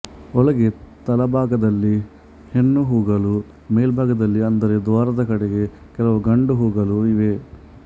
ಒಳಗೆ ತಳಭಾಗದಲ್ಲಿ ಹೆಣ್ಣು ಹೂಗಳೂ ಮೇಲ್ಭಾಗದಲ್ಲಿ ಅಂದರೆ ದ್ವಾರದ ಕಡೆಗೆ ಕೆಲವು ಗಂಡು ಹೂಗಳೂ ಇವೆ